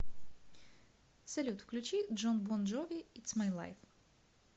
салют включи джон бон джови итс май лайф